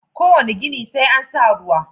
Kowane gini sai an sa ruwa.